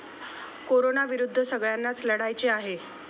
कोरोनाविरुद्ध सगळय़ांनाच लढायचे आहे.